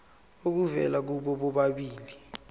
obuvela kubo bobabili